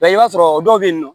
La i b'a sɔrɔ dɔw bɛ yen nɔ